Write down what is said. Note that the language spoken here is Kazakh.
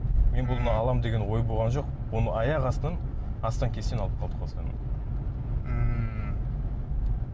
мен бұны аламын деген ой болған жоқ оны аяқ астынан астаң кестең алып қалдық осылайынан мхм